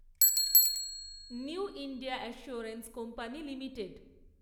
new India assurance company limited